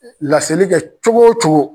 Laseli kɛ cogo wo cogo